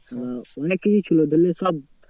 আহ অনেককিছু ছিল ধরলে সব